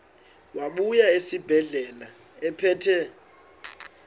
wabuya esibedlela ephethe